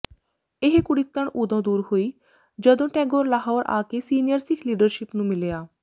ਇਹ ਕੁੜਿੱਤਣ ਉਦੋਂ ਦੂਰ ਹੋਈ ਜਦੋ ਟੈਗੋਰ ਲਾਹੌਰ ਆ ਕੇ ਸੀਨੀਅਰ ਸਿੱਖ ਲੀਡਰਸ਼ਿਪ ਨੂੰ ਮਿਲਿਆ